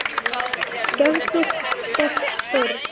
Gerist þess þörf.